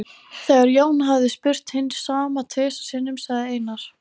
Þegar Jón hafði spurt hins sama tvisvar sinnum sagði Einar